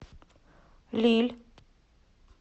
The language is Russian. лилль